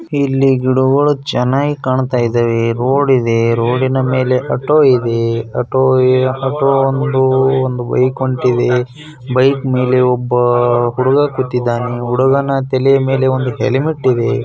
ಇಲ್ಲಿ ಗಿಡ ಗಳು ಚೆನ್ನಾಗಿ ಕಾಣ್ತಿದೆ ರೋಡ್ ಇದೆ ರೋಡ್ ನಾ ಮೇಲೆ ಆಟೋ ಇದೆ ಒಂದು ಬೈಕ್ ಬೈಕ್ ಮೇಲೆ ಒಬ್ಬ ಹುಡುಗ ಕೂತಿದಾನೆ ಹುಡುಗನ ತಲೆಯ ಮೇಲೆ ಒಂದು ಹೆಲ್ಮೆಟ್ ಇದೆ .